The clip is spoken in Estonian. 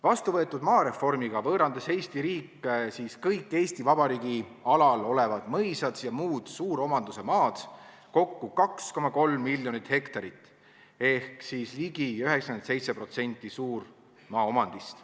Vastuvõetud maareformiga võõrandas Eesti riik kõik Eesti Vabariigi alal olevad mõisad ja muud suuromanduse maad, kokku 2,3 miljonit hektarit ehk siis ligi 97% suurmaaomandist.